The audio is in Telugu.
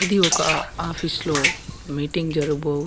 ఇది ఒక ఆఫీస్ లో మీటింగ్ జరుగబో --